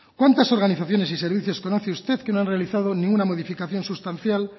cuántas organizaciones y servicios conoce usted que no han realizado ninguna modificación sustancial